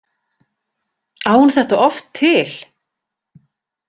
Á hún þetta oft til?